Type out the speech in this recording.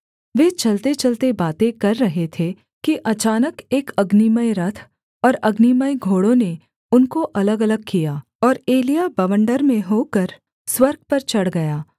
वे चलतेचलते बातें कर रहे थे कि अचानक एक अग्निमय रथ और अग्निमय घोड़ों ने उनको अलगअलग किया और एलिय्याह बवंडर में होकर स्वर्ग पर चढ़ गया